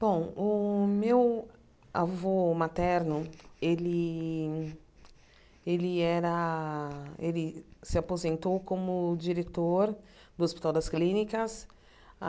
Bom, o meu avô materno ele ele era ele se aposentou como diretor do Hospital das Clínicas.